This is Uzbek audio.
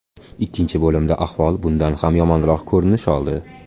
Ikkinchi bo‘limda ahvol bundan ham yomonroq ko‘rinish oldi.